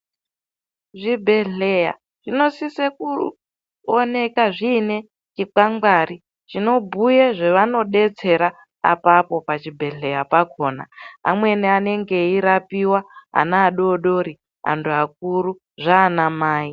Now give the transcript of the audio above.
Zvibhedhlera zvinosisa kuoneka zvine zvikwangwari zvinobhuya zvaanodetsera apao pachibhedhlera pakona anenge erapiwa ana adodori antu akuru zvana mai.